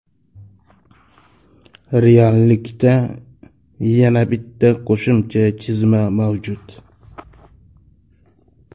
Reallikda yana bitta qo‘shimcha chizma mavjud.